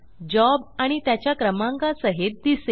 job आणि त्याच्या क्रमांका सहित दिसेल